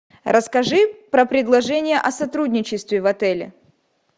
расскажи про предложение о сотрудничестве в отеле